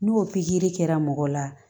N'o pikiri kɛra mɔgɔ la